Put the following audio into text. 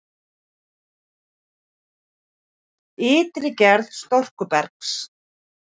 Ytri gerð storkubergs